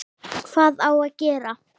Hvað á gera?